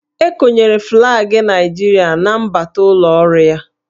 E konyere flaagị Naịjirịa na mbata ụlọ ọrụ ya